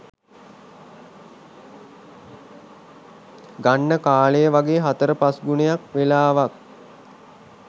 ගන්න කාලය වගේ හතර පස් ගුණයක් වෙලාවක්